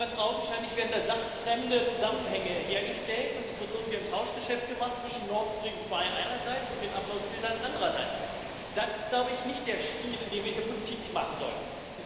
Ganz augenscheinlich werden sachfremde Zusammenhänge hergestellt, und es wird irgendwie ein Tauschgeschäft gemacht zwischen Nord Stream 2 einerseits und den Uploadfiltern andererseits. Das ist, glaube ich, nicht der Stil, in dem wir hier Politik machen sollten.